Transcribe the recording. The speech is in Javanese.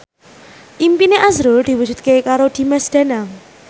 impine azrul diwujudke karo Dimas Danang